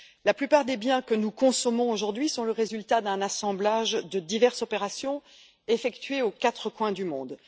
La plupart des biens que nous consommons aujourd'hui sont le résultat d'un assemblage de diverses opérations effectuées aux quatre coins du monde.